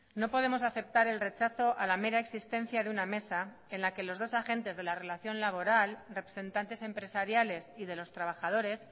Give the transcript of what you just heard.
no podemos aceptar el rechazo a la mera existencia de una mesa en la que los dos agentes de la relación laboral representantes empresariales y de los trabajadores